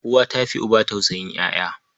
Uwa ta fi uba tausayin ƴaƴa.